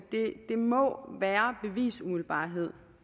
må være bevisumiddelbarhed